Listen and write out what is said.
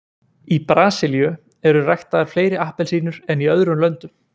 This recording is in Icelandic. Í Brasilíu eru ræktaðar fleiri appelsínur en í öðrum löndum.